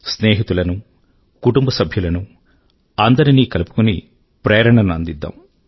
స్నేహితులను కుటుంబ సభ్యులను అందరికీ ప్రేరణ ను అందిద్దాం